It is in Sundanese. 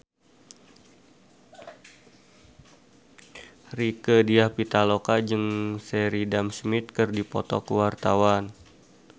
Rieke Diah Pitaloka jeung Sheridan Smith keur dipoto ku wartawan